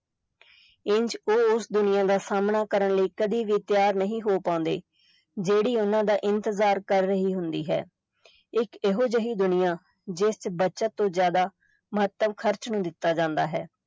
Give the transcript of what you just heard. ਇੰਜ ਉਹ ਉਸ ਦੁਨੀਆ ਦਾ ਸਾਮ੍ਹਣਾ ਕਰਨ ਲਈ ਕਦੇ ਵੀ ਤਿਆਰ ਨਹੀਂ ਹੋ ਪਾਉਂਦੇ ਜਿਹੜੀ ਉਨ੍ਹਾਂ ਦਾ ਇੰਤਜ਼ਾਰ ਕਰ ਰਹੀ ਹੁੰਦੀ ਹੈ ਇਕ ਇਹੋ ਜਿਹੀ ਦੁਨੀਆ ਜਿਸ ਚ ਬਚਤ ਤੋਂ ਜ਼ਿਆਦਾ ਮਹੱਤਵ ਖ਼ਰਚ ਨੂੰ ਦਿੱਤਾ ਜਾਂਦਾ ਹੈ।